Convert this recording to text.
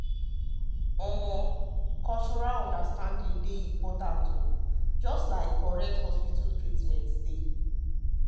um cultural understanding important just like correct hospital treatment.